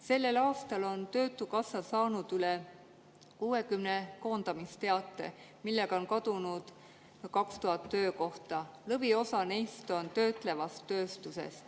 Sellel aastal on töötukassa saanud üle 60 koondamisteate, millega on kadunud 2000 töökohta, lõviosa neist oli töötlevas tööstuses.